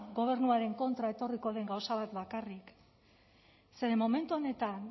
gobernuaren kontra etorriko den gauza bat bakarrik zeren momentu honetan